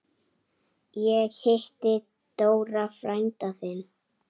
Ég hitti Dóra frænda þinn.